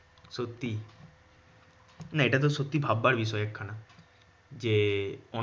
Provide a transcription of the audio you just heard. সত্যি। এটা তো সত্যি ভাববার বিষয় একখানা। যে